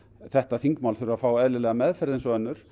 þetta þingmál þurfi að fá eðlilega meðferð eins og önnur